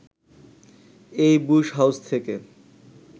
এই Bush House থেকে